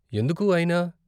ఎందుకు, అయినా?